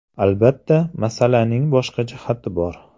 Albatta, masalaning boshqa jihati bor.